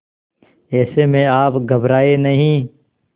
ऐसे में आप घबराएं नहीं